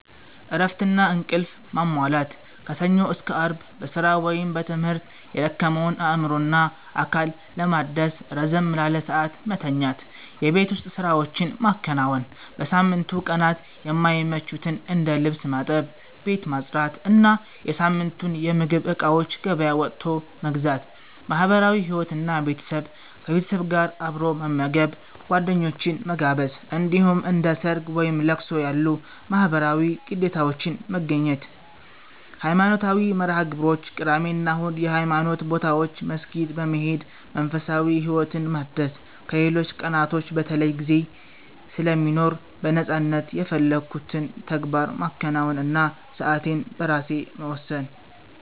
እረፍትና እንቅልፍ ማሟላት፦ ከሰኞ እስከ አርብ በስራ ወይም በትምህርት የደከመውን አእምሮና አካል ለማደስ ረዘም ላለ ሰዓት መተኛት። የቤት ውስጥ ስራዎችን ማከናወን፦ በሳምንቱ ቀናት የማይመቹትን እንደ ልብስ ማጠብ፣ ቤት ማጽዳት እና የሳምንቱን የምግብ እቃዎች ገበያ ወጥቶ መግዛት። ማህበራዊ ህይወት እና ቤተሰብ፦ ከቤተሰብ ጋር አብሮ መመገብ፣ ጓደኞችን መጋበዝ፣ እንዲሁም እንደ ሰርግ፣ ወይም ለቅሶ ያሉ ማህበራዊ ግዴታዎችን መገኘት። ሃይማኖታዊ መርሃ-ግብሮች፦ ቅዳሜ እና እሁድ የሃይማኖት ቦታዎች መስጊድ በመሄድ መንፈሳዊ ህይወትን ማደስ ከሌሎች ቀናቶች በተለይ ጊዜ ስለሚኖር በነፃነት የፈለኩትን ተግባር ማከናወን እና ሰአቴን በራሴ መወሰን።